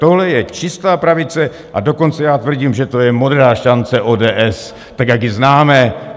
Tohle je čistá pravice, a dokonce já tvrdím, že to je Modrá šance ODS, tak jak ji známe.